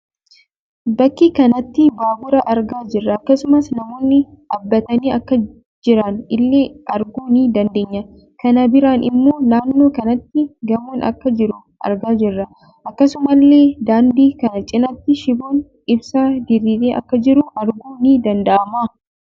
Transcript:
Bakka kanatti baabura argaa jirra. Akkasumas Namoonni dhaabbatanii akka jiran illee arguu ni dandeenya. Kan biraan immoo naannoo kanatti gamoon akka jiru argaa jirra. Akkasuma illee daandii kana cinatti shiboon ibsaa diriiree akka jiru arguun ni danda'ama.